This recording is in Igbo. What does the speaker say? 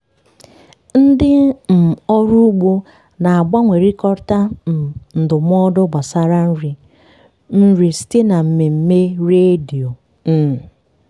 ndị um ọrụ ugbo na-agbanwekọrịta um ndụmọdụ gbasara nri nri site na mmemme redio. um